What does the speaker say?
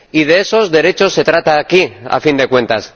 Y de esos derechos se trata aquí, a fin de cuentas.